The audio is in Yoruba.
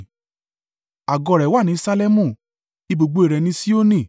Àgọ́ rẹ̀ wà ní Salẹmu, ibùgbé rẹ̀ ni Sioni.